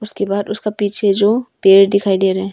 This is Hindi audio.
उसके बाद उसका पीछे जो पेड़ दिखाई दे रहे हैं।